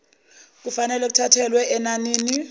kufanelwe kuthathelwe enanini